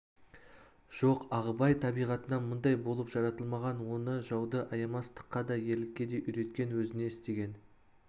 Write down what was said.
жоқ ағыбай табиғатынан мұндай болып жаратылмаған оны жауды аямас- тыққа да ерлікке де үйреткен өзіне істеген